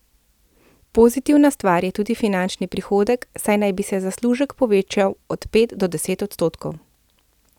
Pozitivna stvar je tudi finančen prihodek, saj naj bi se zaslužek povečal od pet do deset odstotkov.